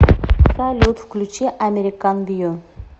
салют включи американ вью